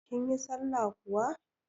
Kin yi sallah kuwa?